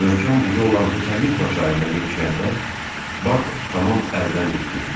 Möhkəm buzu olan Hutalinkva çayına yetişəndə Bak tamam əldən düşmüşdü.